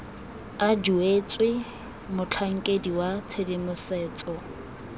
a duetswe motlhankedi wa tshedimosetso